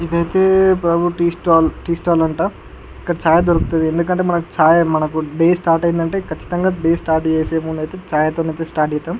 ఇది ఐతే tea stall tea stall అంట ఇక్కడ చాయ్ దొరుకుతుంది ఎందుకంటే మనకి చాయ్ అంటే డే స్టార్ట్ అయింది అంటే కచ్చితంగా చాయ్ తోనే స్టార్ట్ చేస్తాం.